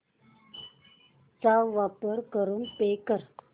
चा वापर करून पे कर